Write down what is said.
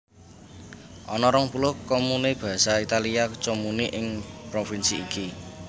Ana rong puluh comune Basa Italia comuni ing provinsi iki